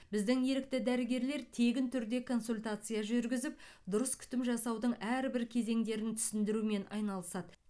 біздің ерікті дәрігерлер тегін түрде консультация жүргізіп дұрыс күтім жасаудың әрбір кезеңдерін түсіндірумен айналысады